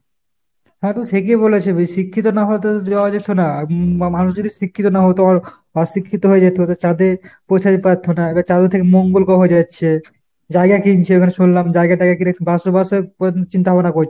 হ্যাঁ তু ঠিকই বলেছে বেশি শিক্ষিত না হলে তো যাওয়া যেত না ! উম মানুষ যদি শিক্ষিত না হতো অ~ অশিক্ষিত হয়ে যেত চাঁদে পৌঁছাতে পারতো না, এবার চাঁদের থেকে মঙ্গল গ্রহ যাচ্ছে। জায়গা কিনছে ওখানে শুনলাম জায়গা টায়গা কিনে বাসবাসের চিন্তা ভাবনা করছে।